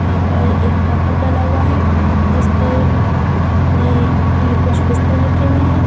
यहां पर एक तखट डला हुआ है जिस पर कुछ बिस्तर रखे हुए हैं।